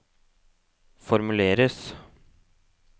formuleres